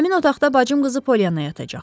Həmin otaqda bacım qızı Polya yatacaq.